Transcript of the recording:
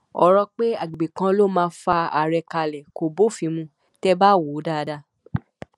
ọrọ pé àgbègbè kan ló máa fa àárẹ kalẹ kò bófin mu tẹ ẹ bá wò ó dáadáa